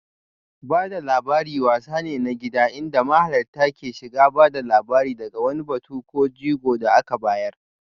Ba da labari wasa ne na gida inda mahalarta ke shiga ba da labari daga wani batu ko jigo da aka bayar